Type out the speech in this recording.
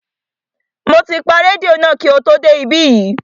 Mo ti pa rédíò náà kí o tó dé ibí yìí